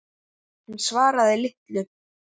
Hún svaraði litlu.